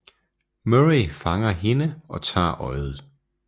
Murray fanger hende og tager øjet